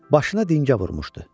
Başına dingə vurmuşdu.